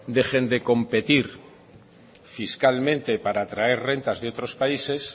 dejen de competir fiscalmente para atraer rentas de otros países